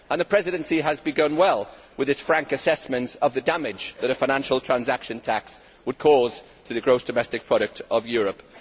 The Presidency has begun well with its frank assessment of the damage that a financial transaction tax would cause to the gross domestic product of Europe.